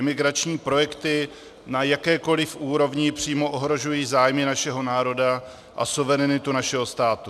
Imigrační projekty na jakékoli úrovni přímo ohrožují zájmy našeho národa a suverenitu našeho státu.